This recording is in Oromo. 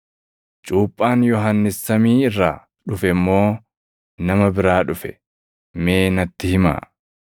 Cuuphaan Yohannis samii irraa dhufe moo nama biraa dhufe? Mee natti himaa!”